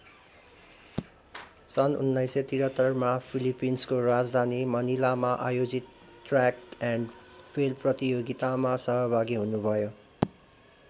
सन् १९७३ मा फिलिपिन्सको राजधानी मनिलामा आयोजित ट्रयाक एन्ड फिल्ड प्रतियोगितामा सहभागी हुनुभयो।